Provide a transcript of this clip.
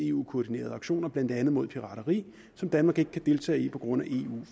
eu koordinerede aktioner blandt andet mod pirateri som danmark ikke kan deltage i på grund af eu